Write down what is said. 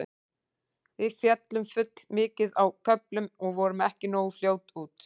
Við féllum full mikið á köflum og vorum ekki nógu fljótar út.